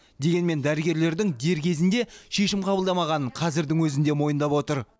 дегенмен дәрігерлердің дер кезінде шешім қабылдамағанын қазірдің өзінде мойындап отыр